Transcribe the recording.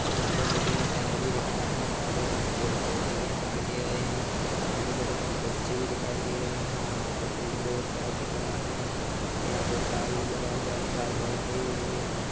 यहाँ मुझे मकान भी दिख रहा हैं यहाँ पे मुझे पेड़ पौधे भी दिखाय दे रहे हैं यहाँ पे मुझे कुछ बच्चे भी दिखाई दे रहे हैं यहाँ पे कुछ रोड ड्राइव दिख रहा हैं यहाँ पे तार भी लगा हुआ हैं तार बाउंड्री भी हुई हैं यहाँ पे--